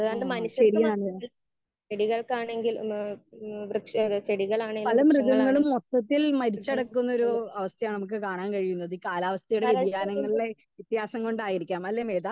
Speaker 2 ആ ശരിയാണ്. പല മൃഗങ്ങളും മൊത്തത്തിൽ മരിച്ചു കിടക്കുന്ന ഒര്‌ അവസ്ഥയാണ് നമുക്ക് കാണാൻ കഴിയുന്നത് ഈ കാലാവസ്ഥയിലെ വ്യെധിയാനങ്ങളിലെ വെത്യാസം കൊണ്ടായിരിക്കാം അല്ലേ മേത?